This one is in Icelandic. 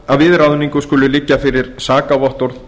að við ráðningu skuli liggja fyrir sakavottorð